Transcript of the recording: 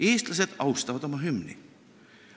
Eestlased austavad oma hümni.